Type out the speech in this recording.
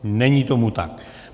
Není tomu tak.